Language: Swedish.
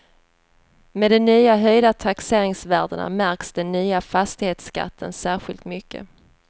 Med de nya höjda taxeringsvärdena märks den nya fastighetsskatten särskilt mycket.